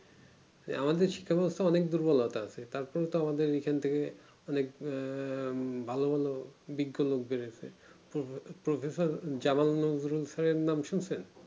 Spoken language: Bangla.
যে আমাদের শিক্ষা ব্যবস্থা অনেক দুর্বলতা আছে তার কারণ তো আমাদের এখন থেকে অনেক ভালো ভালো বিজ্ঞ লোভ ধরেছে এর নাম শুনেছেন